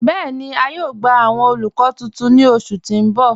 Bẹẹni, à yóò gbà awọn olùkọ̀ tuntun ni ọṣù tí n bọ̀.